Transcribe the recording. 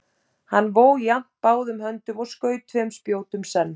Hann vó jafnt báðum höndum og skaut tveim spjótum senn.